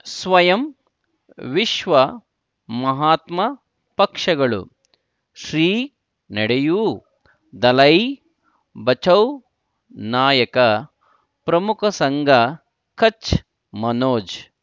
ಸ್ವಯಂ ವಿಶ್ವ ಮಹಾತ್ಮ ಪಕ್ಷಗಳು ಶ್ರೀ ನಡೆಯೂ ದಲೈ ಬಚೌ ನಾಯಕ ಪ್ರಮುಖ ಸಂಘ ಕಚ್ ಮನೋಜ್